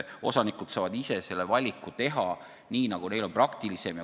Osanikud saavad ise valiku teha nii, nagu neile on praktilisem.